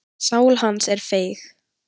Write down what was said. Sál hans er feig.